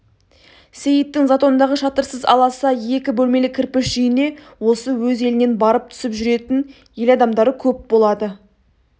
сейіттің затондағы шатырсыз аласа екі бөлмелі кірпіш үйіне осы өз елінен барып түсіп жүретін ел адамдары көп болады